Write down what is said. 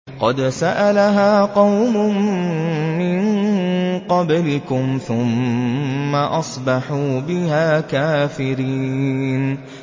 قَدْ سَأَلَهَا قَوْمٌ مِّن قَبْلِكُمْ ثُمَّ أَصْبَحُوا بِهَا كَافِرِينَ